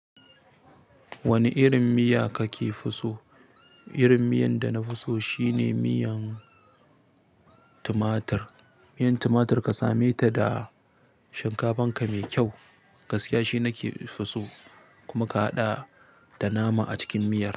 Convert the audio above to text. Wani irin miya kakefi so? Irin miyan da na fi so shine miyan tumatur. Miyan tumatur ka same ta da shinkafan ka mai kyau. Gaskiya shi nake fi so kuma ka haɗa da nama a cikin miya.